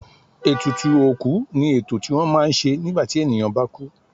Ètùtù òkú ni ètò tí wọ́n má ń ṣe nígbà tí ènìyàn bá kú.